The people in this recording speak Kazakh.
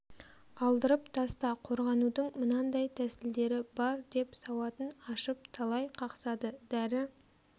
алдырып таста қорғанудың мынандай тәсілдері бар деп сауатын ашып талай қақсады дәрі